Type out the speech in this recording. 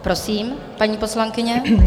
Prosím, paní poslankyně.